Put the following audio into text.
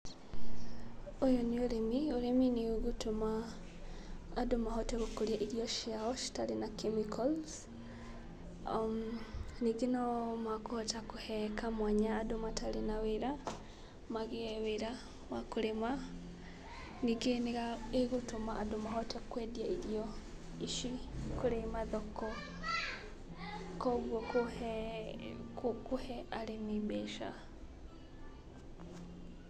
Ũyũ nĩ ũrĩmi. Ũrĩmi nĩũgũtũma andũ mahote gũkũria irio ciao citarĩ na chemicals. Ningĩ nomakũhota kũhe kamwanya andũ matarĩ na wĩra magiĩ wĩra wa kũrĩma. Ningĩ nĩĩgũtũma andũ mahote kwendia irio ici kũrĩ mathoko koguo kũhe arĩmi mbeca.